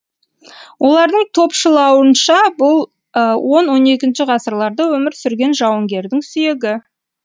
олардың топшылауынша бұл он он екінші ғасырларда өмір сүрген жауынгердің сүйегі